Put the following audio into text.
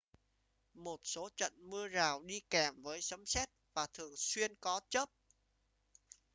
một số trận mưa rào đi kèm với sấm sét và thường xuyên có chớp